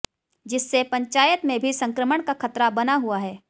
जिससे पंचायत में भी संक्रमण का खतरा बना हुआ है